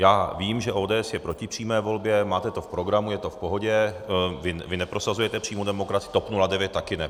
Já vím, že ODS je proti přímé volbě, máte to v programu, je to v pohodě, vy neprosazujete přímou demokracii, TOP 09 taky ne.